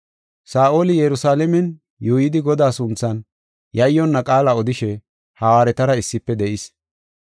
Saa7oli Yerusalaamen yuuyidi Godaa sunthan yayyonna qaala odishe, hawaaretara issife de7is.